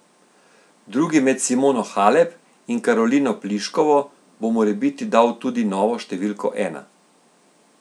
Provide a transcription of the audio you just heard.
Drugi med Simono Halep in Karolino Pliškovo bo morebiti dal tudi novo številko ena.